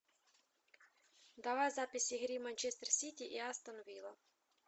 давай запись игры манчестер сити и астон вилла